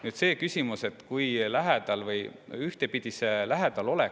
Nüüd, see küsimus, et kui lähedal peaks.